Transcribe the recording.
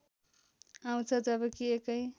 आउँछ जबकि एकै